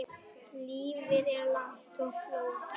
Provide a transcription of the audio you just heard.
Lífið er langt og flókið.